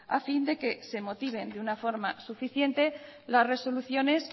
a fin de que se motiven de una forma suficiente las resoluciones